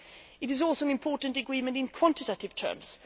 It is also an important agreement in quantitative terms.